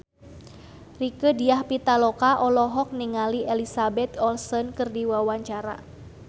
Rieke Diah Pitaloka olohok ningali Elizabeth Olsen keur diwawancara